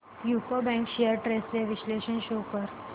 UCO bank shares trends चे विश्लेषण show कर